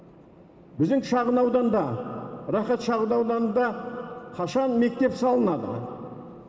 біздің шағын ауданда рахат шағын ауданында қашан мектеп салынады